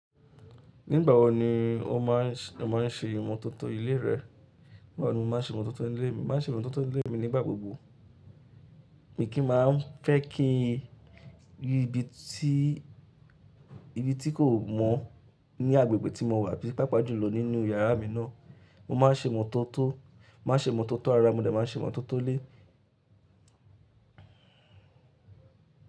Nígbà wo ni o má a ń ṣe ìmọ̀tótó ilé rẹ? Nígbà wo ni mo máa ń ṣe ìmọ̀tótó ilé mi? Mo má ń ṣe ìmọ̀tótó ilé mi nígbà gbogbo. Mi kí maa ń fẹ́ kíi n ri ibi tí, ibi tí kò mọ́ ní agbègbè tí mo wà bíi pàápàá jùlọ nínú yàrá mi náà. Mo máa ń ṣe ìmọ̀tótó, mo má ń ṣe ìmọ̀tótó ara mi mo dẹ̀ má ń ṣe ìmọ̀tótó ilé.